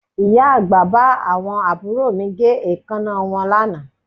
Ìyá àgbà bá àwọn àbúrò mi gé èékánná wọn lánàá